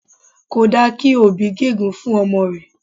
Kò dára kí òbí gégùn-ún fún ọmọ rẹ̀